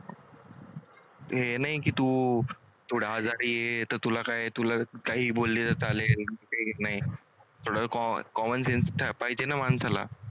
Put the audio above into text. हे नाही की तू थोडं आजारी काही बोललेलं चालेल co common sense पाहिजे ना माणसाला?